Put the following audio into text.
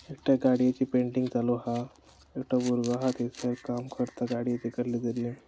एकट्या गाडीयेची पेंटींग चालु हा एकटो भुरगो आसा थयसर काम करता गाडीयेचे कसले कसले.